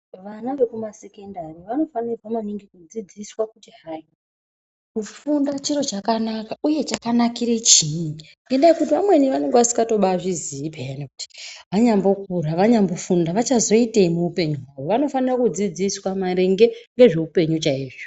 Vana vekumasekondari vanofanirwa maningi kudzidziswa kuti hai kufunda chiro chakanaka uye chakanakire chiini ngendaya yekuti vamweni vanenge vasingatobazviziyi payani kuti vanyambokura vanyambofunda vachazoitei muupenyu hwavo vanofanira kudzidziswa maringe ngezveupenyu chaizvo.